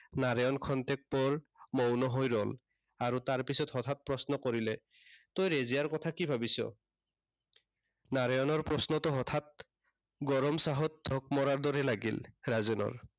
নাৰায়ণ ক্ষন্তেক পৰ মৌন হৈ ৰল। আৰু তাৰ পাছত হঠাৎ প্ৰশ্ন কৰিলে। তই ৰেজিয়াৰ কথা কি ভাবিছ? নাৰায়ণৰ প্ৰশ্নটো হঠাৎ, গৰম চাহত ঢোক মৰাৰ দৰে লাগিল, ৰাজেনৰ।